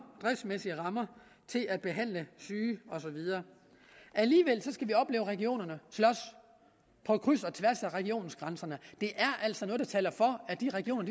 i at behandle syge og så videre alligevel skal vi opleve regionerne slås på kryds og tværs af regionsgrænserne det er altså noget der taler for at de regioner